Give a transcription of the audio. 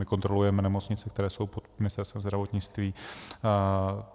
My kontrolujeme nemocnice, které jsou pod Ministerstvem zdravotnictví.